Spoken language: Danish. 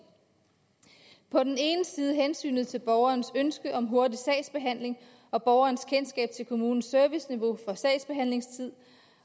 på den ene side hensynet til borgerens ønske om hurtig sagsbehandling og borgerens kendskab til kommunens serviceniveau for sagsbehandlingstid